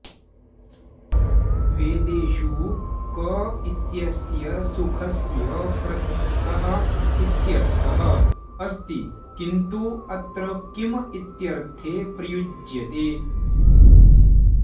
वेदेषु क इत्यस्य सुखस्य प्रतीकः इत्यर्थः अस्ति किन्तु अत्र किम् इत्यर्थे प्रयुज्यते